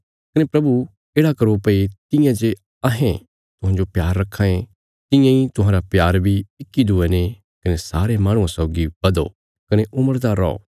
कने प्रभु येढ़ा करो भई तियां जे अहें तुहांजो प्यार रक्खां ये तियां इ तुहांरा प्यार बी इक्की दूये ने कने सारे माहणुआं सौगी बधो कने उमड़दा रौओ